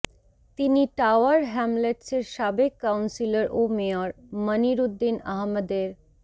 তিনি টাওয়ার হ্যামলেটসের সাবেক কাউন্সিলর ও মেয়র মনির উদ্দিন আহমদের